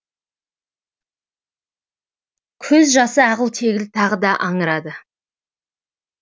көз жасы ағыл тегіл тағы да аңырады